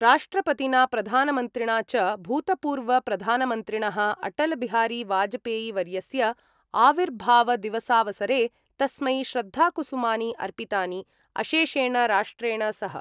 राष्ट्रपतिना प्रधानमन्त्रिणा च भूतपूर्वप्रधानमन्त्रिणः अटलबिहारीवाजपेयीवर्यस्य आविर्भावदिवसावसरे तस्मै श्रद्धाकुसुमानि अर्पितानि, अशेषेण राष्ट्रेण सह।